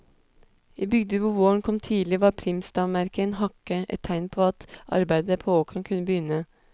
I bygder hvor våren kom tidlig, var primstavmerket en hakke, et tegn på at arbeidet på åkeren kunne begynne.